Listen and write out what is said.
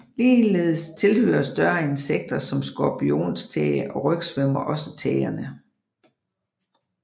Ligeledes tilhører større insekter som skorpionstæge og rygsvømmer også tægerne